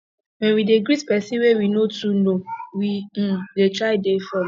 when we dey greet person wey we no too know we um dey try dey formal